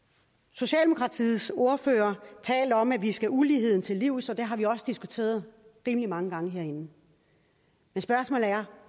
socialdemokratiets ordfører talte om at vi skulle uligheden til livs og det har vi også diskuteret rimelig mange gange herinde men spørgsmålet er